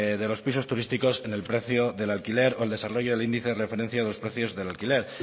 de los pisos turísticos en el precio del alquiler o el desarrollo del índice de referencia de los precios del alquiler